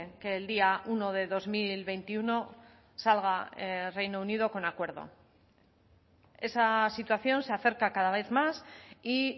que el día uno de dos mil veintiuno salga reino unido con acuerdo esa situación se acerca cada vez más y